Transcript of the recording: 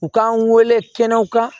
U k'an wele kɛnɛw kan